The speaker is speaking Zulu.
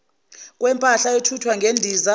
kwempahla ethuthwa ngendiza